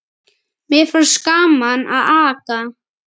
Mér finnst gaman að aka.